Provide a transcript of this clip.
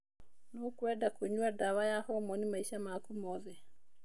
Nũkwendeka kũnyua ndawa ya hormoni maica maku monthe.